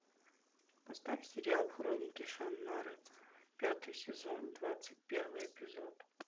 поставь сериал хроники шаннары пятый сезон двадцать первый эпизод